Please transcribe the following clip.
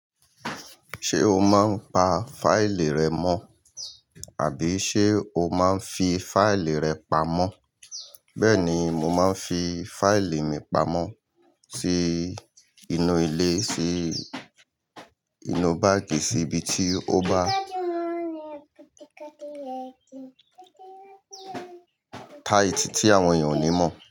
Ṣé o máa ń pa fáìlì rẹ mọ́? Àbí ṣé o máa ń fi fáìlì rẹ pamọ́? Bẹ́ẹ̀ni, mo máa ń fi fáìlì mi pamọ́ sí inú ilé, sí inú báàgì, sí ibi tí ó bá tight tí àwọn èèyàn ò ní mọ̀